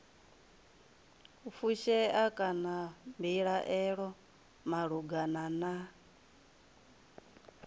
fushea kana mbilaelo malugana na